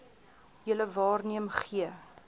julle waarneem gee